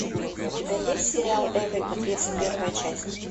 у тебя есть сериал эврика тридцать первая часть